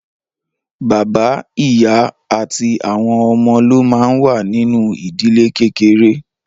Bàbá, ìyá àti àwọn ọmọ ló máa ń wà nínú ìdílé kékeré.